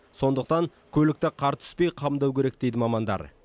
сондықтан көлікті қар түспей қамдау керек дейді мамандар